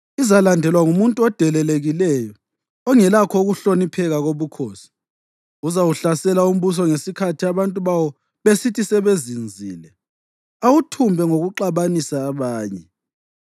Izalandelwa ngumuntu odelelekileyo ongelakho ukuhlonipheka kobukhosi. Uzawuhlasela umbuso ngesikhathi abantu bawo besithi sebezinzile, awuthumbe ngokuxabanisa abanye.